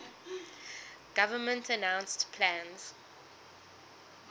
government announced plans